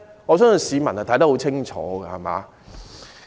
我相信市民看得十分清楚。